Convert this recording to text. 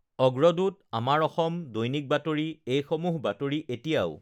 অগ্ৰদূত, আমাৰ অসম, দৈনিক বাতৰি এইসমূহ বাতৰি এতিয়াও